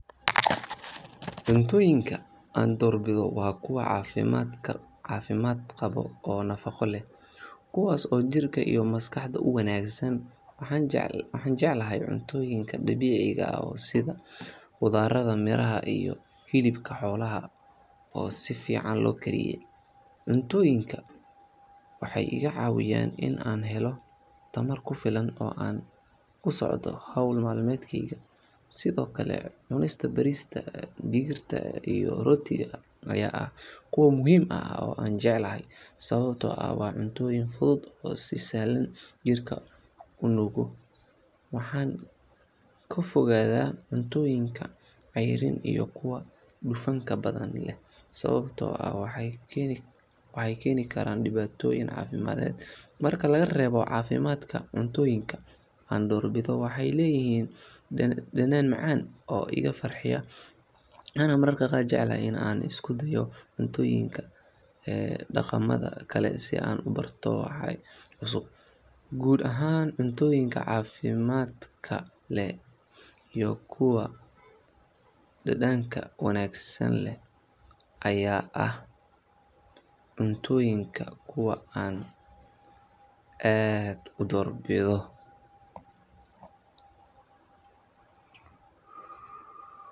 Cuntooyinka aan door bido waa kuwa cafimaad qabo oo nafaqo leh, kuwaas oo jirka iyo maskaxda uwanagsan, waxaan jeclahay cuntooyinka dabiiciga ah sida qudarada, miraha iyo hilibka xoolaha oo si fican loo kariye, cuntooyinka waxeey iga cawiyaan inaan helo tamar kufilan oo aan kusocdo howl maalmeedkeyga, sido kale cunista bariiska, digirta iyo rootiga ayaa ah kuwa muhiim ah oo aan jeclahay, sababta oo ah waa cuntoyiin fudud oo si sahlan jirka unuugo, waxaan ka fogaada cuntooyinka ceyrinta iyo kuwa dufanta badan leh, sababta oo ah waxeey keeni karaan dibatoyin cafimaaded, marka laga reebo cafimaadka cuntooyinka aan door bido waxeey leeyihiin danaan macaan oo iga farxiya, waxaana mararka qaar jeclahay inaan isku dayo cuntooyinka ee daqamada kale si aan kubarto waxa cusub, guud ahaan cuntooyinka cafimaadka leh iyo kuwa dadanka wanagsan leh ayaa ah cuntooyinka kuwa aan aad udoor bido.